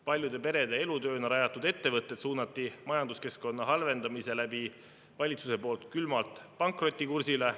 Paljude perede elutööna rajatud ettevõtted suunati majanduskeskkonna halvendamisega valitsuse poolt külmalt pankrotikursile.